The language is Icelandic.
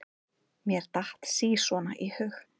Mér datt sí svona í hug.